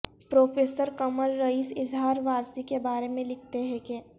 professor Qamar Rais Izhar Warsi کے بارے میں لکھتے ہے کہ